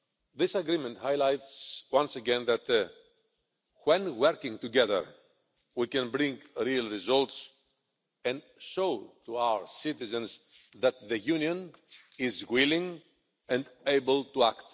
This agreement highlights once again that, when working together, we can bring real results and show to our citizens that the Union is willing and able to act.